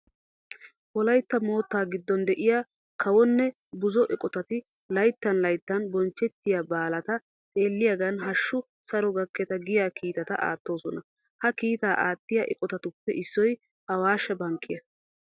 Wolaytta moottaa giddon de'iya kawonne buzo eqotati layttan layttan bonchchettiya baalata xeelliyagan hashshu saro gakketa giya kiitata aattoosona. Ha kiitaa aattiya eqotatuppe issoy awaashshe bankkiya.